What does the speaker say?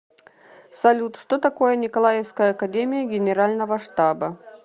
салют что такое николаевская академия генерального штаба